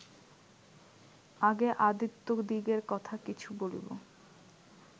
আগে আদিত্যদিগের কথা কিছু বলিব